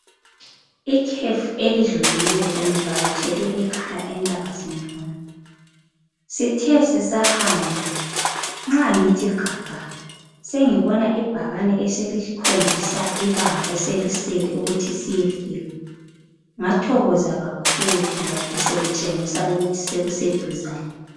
Ikhefu elidlulileyo bengivakatshele ekhaya eNtabazinduna, sithe sisahamba nxa ngithi gaga sengibona ibhakane eselikhombisa ibanga eselisele ukuthi siyefika ngathokoza kakhulu ngoba besekutshengisa ukuthi sekuseduzane.